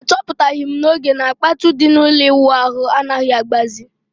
A chọpụtaghi m n'oge na kpatụ di na ụlọ ịwụ ahụ anaghị agbazi